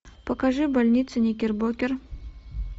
покажи больницу никербокер